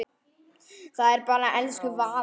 Það er bara elsku Vala.